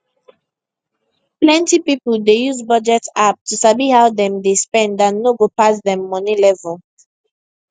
plenty people dey use budget app to sabi how dem dey spend and no go pass dem money level